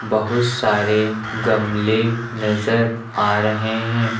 बहुत सारे गमले नजर आ रहे हैं।